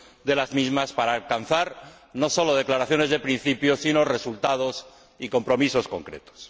de las mismas para alcanzar, no sólo declaraciones de principio, sino resultados y compromisos concretos.